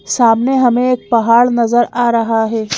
सामने हमें एक पहाड़ नजर आ रहा है।